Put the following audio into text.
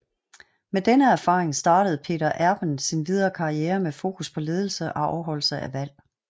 Med denne erfaring startede Peter Erben sin videre karriere med fokus på ledelse og afholdelse af valg